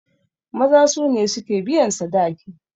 Maza su ne suke biyan sadaki.